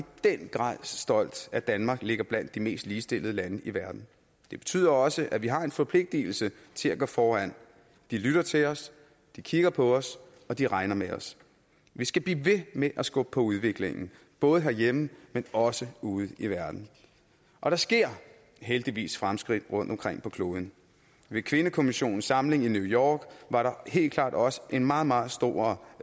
den grad stolt at danmark ligger blandt de mest ligestillede lande i verden det betyder også at vi har en forpligtelse til at gå foran de lytter til os de kigger på os og de regner med os vi skal blive ved med at skubbe på udviklingen både herhjemme men også ude i verden og der sker heldigvis fremskridt rundtomkring på kloden ved kvindekommissionens samling i new york var der helt klart også en meget meget stor